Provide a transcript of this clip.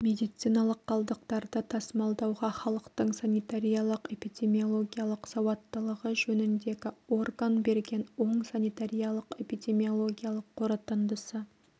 медициналық қалдықтарды тасымалдауға халықтың санитариялық-эпидемиологиялық салауаттылығы жөніндегі орган берген оң санитариялық-эпидемиологиялық қорытындысы